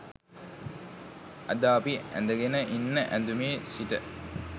අද අපි ඇඳගන ඉන්න ඇඳුමේ සිට